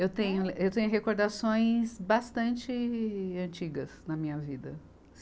Eu tenho, eu tenho recordações bastante antigas na minha vida.